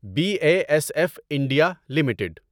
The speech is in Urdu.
be A S F India limited